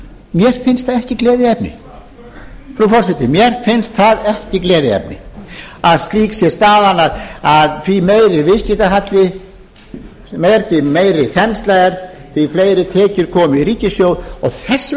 mér finnst það ekki gleðiefni frú forseti mér finnst það ekki gleðiefni að slík sé staðan að því meiri viðskiptahalli því meiri þensla því fleiri tekjur komi í ríkissjóð og þess vegna